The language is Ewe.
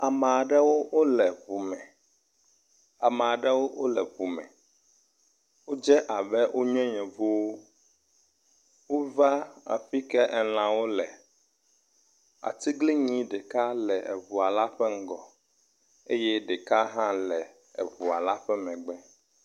Ameaɖewó wóle ʋu me ameaɖewó wóle ʋu me, wódze abe wónye yevuwo, wóva aƒike elãwo le, atiglinyi ɖeka le eʋua la ƒe ŋgɔ eyɛ ɖeka hã le eʋua la ƒe megbe